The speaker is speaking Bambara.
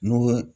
N'o ye